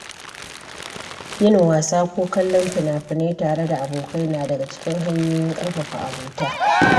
Yin wasa ko kallon fina-finai tare da abokai na daga cikin hanyoyin ƙarfafa abota.